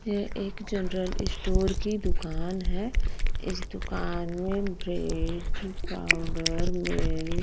यह एक general store की दुकान है इस दुकान में ब्रेड पाउडर मिल्क।